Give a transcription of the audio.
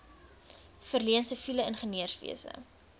verleen siviele ingenieurswese